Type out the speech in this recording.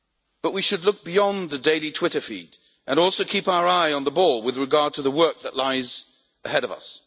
But we should look beyond the daily Twitter feed and also keep our eyes on the ball with regard to the work that lies ahead of us.